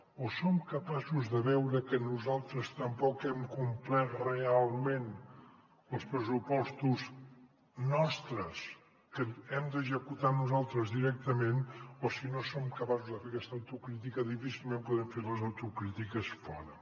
o som capaços de veure que nosaltres tampoc hem complert realment els pressupostos nostres que hem d’executar nosaltres directament o si no som capaços de fer aquesta autocrítica difícilment podem fer les autocrítiques fora